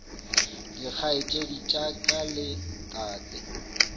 dikgaetšedi tša ka le tate